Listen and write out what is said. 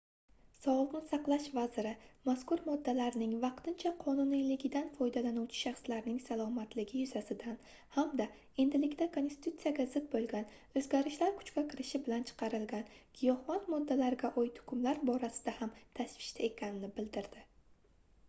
sogʻliqni saqlash vaziri mazkur moddalarning vaqtincha qonuniyligidan foydalanuvchi shaxslarning salomatligi yuzasidan hamda endilikda konstitutsiyaga zid boʻlgan oʻzgarishlar kuchga kirishi bilan chiqarilgan giyohvand moddalarga oid hukmlar borasida ham tashvishda ekanini bildirdi